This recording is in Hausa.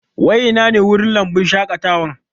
Wai ina ne wurin lambun shaƙatawan?